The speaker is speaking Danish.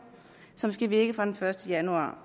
som skal virke den fra første januar